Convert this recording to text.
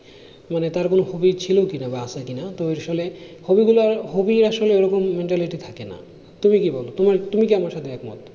মানে তার কোনো hobby ছিল কিনা বা আছে কিনা তো আসলে hobby গুলো hobby আসলে ওরকম mentality থাকে না তুমি কি বোলো তোমার তুমি কি আমার সাথে একমত